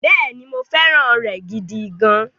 Bẹ́ẹ̀ni, mo fẹ́ràn rẹ̀ gidi gan-an.